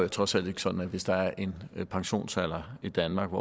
jo trods alt ikke sådan hvis der er en pensionsalder i danmark